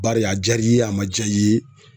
Bari a jar'i ye a ma ja i ye.